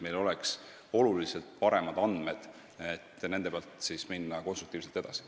Siis on meil tunduvalt paremad andmed, mille pealt saab minna konstruktiivselt edasi.